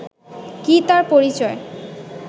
কী তার পরিচয়